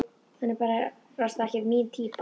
Hann er barasta ekki mín týpa.